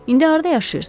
İndi harda yaşayırsınız?